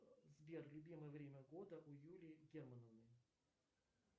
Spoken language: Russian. сбер любимое время года у юлии германовны